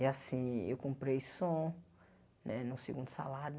E assim, eu comprei som né no segundo salário.